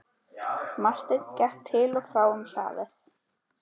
Marteinn gekk til og frá um hlaðið.